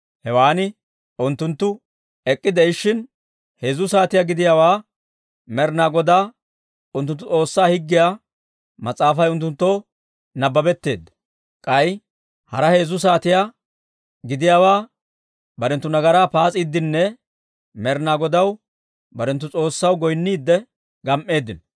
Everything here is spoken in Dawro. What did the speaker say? Hewan unttunttu ek'k'ide'ishshin, heezzu saatiyaa gidiyaawaa Med'inaa Godaa unttunttu S'oossaa Higgiyaa Mas'aafay unttunttoo nabbabetteedda. K'ay hara heezzu saatiyaa gidiyaawaa barenttu nagaraa paas'iiddinne Med'inaa Godaw, barenttu S'oossaw, goynniidde gam"eeddino.